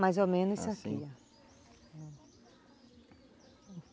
Mais ou menos isso aqui.